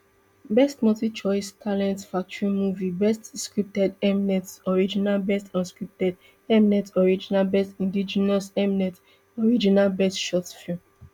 best multichoice talent factory movie best scripted mnet original best unscripted mnet original best indigenous mnet original best short film